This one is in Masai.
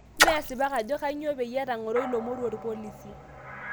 Me asipak ajo kainyoo peyie etang'oro ilo moruo orpolisi